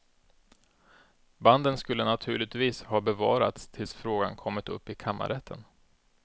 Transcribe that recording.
Banden skulle naturligtvis ha bevarats tills frågan kommit upp i kammarrätten.